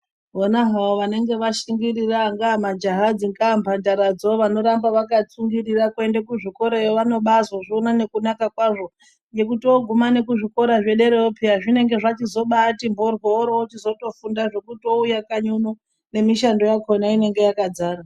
Vona hawo vanenge vashingirira angava majaha dzingava mbandaradzo vanoramba vakatsungurira kuenda kuzvikorayo vanobazozviona nekunaka kwazvo nekuti oguma kuzvikora zvederayo piya zvinenge zvachizoti mboryo orochizotofunda zvekuti ouya kanyi nemishando dzacho dzinenge dzakazara.